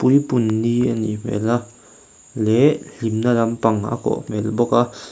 puipunni a nih hmel a leh hlimna lampang a kawh hmel bawk a.